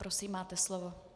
Prosím, máte slovo.